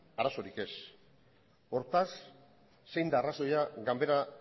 arazorik ez hortaz zein da arrazoia ganbara